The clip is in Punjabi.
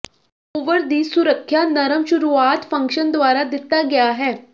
ਓਵਰ ਦੀ ਸੁਰੱਖਿਆ ਨਰਮ ਸ਼ੁਰੂਆਤ ਫੰਕਸ਼ਨ ਦੁਆਰਾ ਦਿੱਤਾ ਗਿਆ ਹੈ